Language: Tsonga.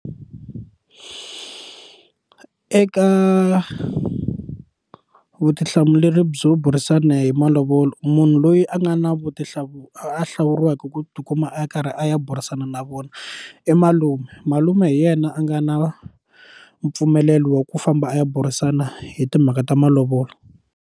Eka u vutihlamuleri byo burisana hi malovolo munhu loyi a nga na a hlawuriweke ku tikuma a karhi a ya burisana na vona i malume malume hi yena a nga na mpfumelelo wa ku famba a ya burisana hi timhaka ta malovolo.